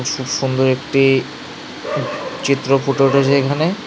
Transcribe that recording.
খুব সুন্দর একটি চিত্র ফুটে উঠেছে এখানে।